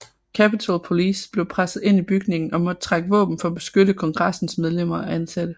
Capitol Police blev presset ind i bygningen og måtte trække våben for at beskytte kongressens medlemmer og ansatte